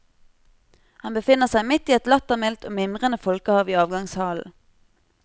Han befinner seg midt i et lattermildt og mimrende folkehav i avgangshallen.